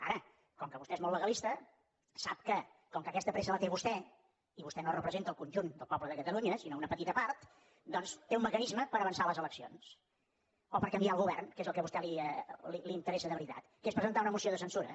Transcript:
ara com que vostè és molt legalista sap que com que aquesta pressa la té vostè i vostè no representa el conjunt del poble de catalunya sinó una petita part doncs té un mecanisme per avançar les eleccions o per canviar el govern que és el que a vostè li interessa de veritat que és presentar una moció de censura